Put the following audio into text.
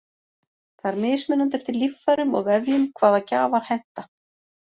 Það er mismunandi eftir líffærum og vefjum hvaða gjafar henta.